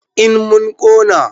en mun Kona